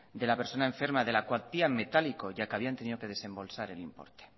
de la persona enferma de la cuantía en metálico ya que habían tenido que desembolsar el importe